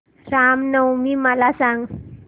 राम नवमी मला सांग